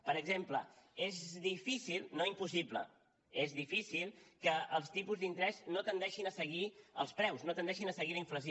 per exemple és difícil no impossible és difícil que els tipus d’interès no tendeixin a seguir els preus no tendeixin a seguir la inflació